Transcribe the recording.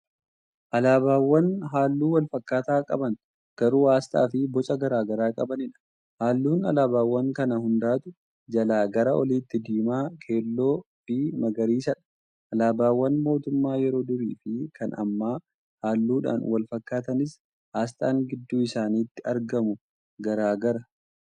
Alaabaawwan halluu walfakkaataa qaban garuu aasxaa Fi Boca garagaraa qabaniidha halluun alaabaawwan kanaa hundaatuu jalaa gara oliitti diimaa, keelloofi magariisadha. Alaabaawwan mootummaa yeroo durii fi Kan ammaa halluudhaan walfakkaatanis aasxaan gidduu isaanitti argamu garagaraa.